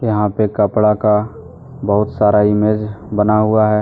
यहाँ पे कपड़ा का बहुत सारा इमेज बना हुआ है।